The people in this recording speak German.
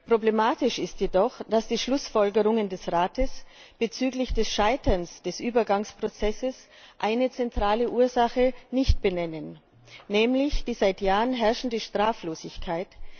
Problematisch ist jedoch, dass die Schlussfolgerungen des Rates bezüglich des Scheiterns des Übergangsprozesses eine zentrale Ursache nicht benennen, nämlich die seit Jahren herrschende Straflosigkeit.